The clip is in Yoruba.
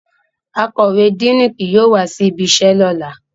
Akọwe Díinì ki yóò wa si ibiṣẹ lọla